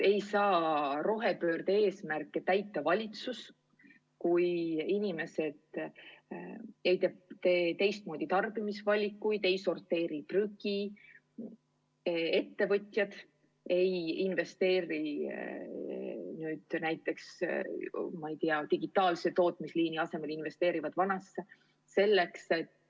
Ei saa rohepöörde eesmärke täita valitsus, kui inimesed ei langeta teistmoodi tarbimisvalikuid, ei sorteeri prügi, kui ettevõtjad ei investeeri näiteks, ma ei tea, digitaalsesse tootmisliini, vaid investeerivad vanasse.